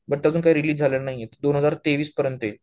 but अजून काही release झाला नाही हे दोन हजार तेवीस पर्यंत येईल